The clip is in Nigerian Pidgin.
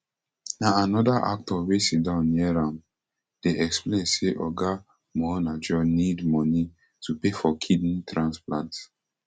na anoda actor wey siddon near am dey explain say oga muonagor need money to pay for kidney transplant